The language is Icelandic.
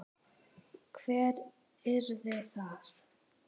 Hver yrði það?